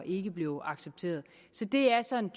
ikke blev accepteret så det er sådan